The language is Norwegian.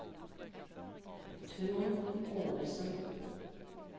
Trond Ovesen